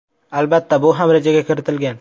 Albatta, bu ham rejaga kiritilgan.